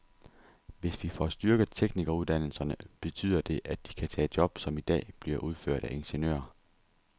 Hvis vi får styrket teknikeruddannelserne, betyder det, at de kan tage job, som i dag bliver udført af ingeniører.